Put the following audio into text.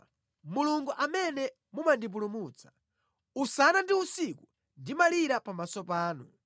Inu Yehova, Mulungu amene mumandipulumutsa, usana ndi usiku ndimalira pamaso panu.